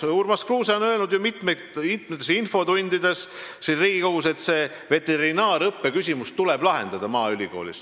Urmas Kruuse on öelnud mitmes infotunnis siin Riigikogus, et veterinaariaõppe küsimus Maaülikoolis tuleb lahendada.